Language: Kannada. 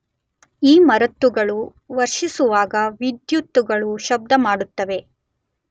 ಈ ಮರುತ್ತುಗಳು ವರ್ಷಿಸುವಾಗ ವಿದ್ಯುತ್ತುಗಳು ಶಬ್ದ ಮಾಡುತ್ತವೆ.